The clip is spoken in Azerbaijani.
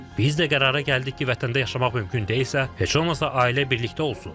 Biz də qərara gəldik ki, vətəndə yaşamaq mümkün deyilsə, heç olmasa ailə birlikdə olsun.